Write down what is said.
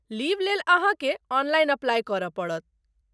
Leave लेल अहाँ के ऑनलाइन अप्लाई करय पड़त।